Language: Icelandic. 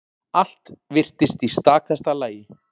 Allt virtist í stakasta lagi.